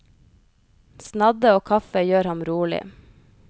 Snadde og kaffe gjør ham rolig.